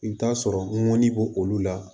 I bɛ t'a sɔrɔ ŋɔni b'olu la